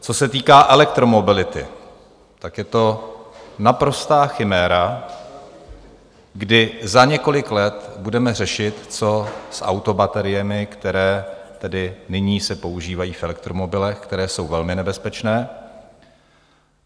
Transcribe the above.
Co se týká elektromobility, tak je to naprostá chiméra, kdy za několik let budeme řešit, co s autobateriemi, které tedy nyní se používají v elektromobilech, které jsou velmi nebezpečné.